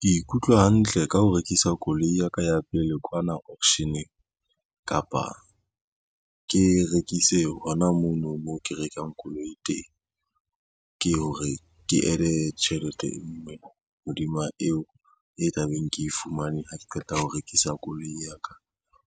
Ke ikutlwa hantle ka ho rekisa koloi ya ka ya pele kwana auction-eng, kapa ke e rekise hona mono mo ke rekang koloi teng. Ke ho re ke add-e tjhelete e ngwe hodima eo e tla beng ke e fumane ha ke qeta ho rekisa koloi ya ka,